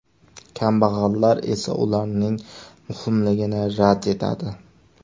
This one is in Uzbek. Kambag‘allar esa ularning muhimligini rad etadi.